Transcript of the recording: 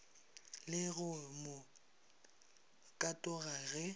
le go mo katoga ge